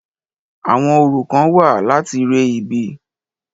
Àwọn orò kán wà láti re ibi.